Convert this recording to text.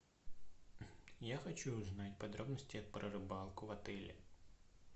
я хочу узнать подробности про рыбалку в отеле